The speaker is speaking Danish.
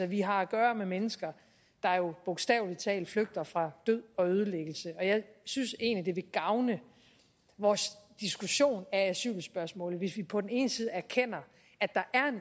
vi har at gøre med mennesker der jo bogstavelig talt flygter fra død og ødelæggelse og jeg synes egentlig det gavne vores diskussion af asylspørgsmålet hvis vi på den ene side erkendte at der